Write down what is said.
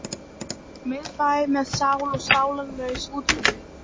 Miðbæ með sál og sálarlaus úthverfi.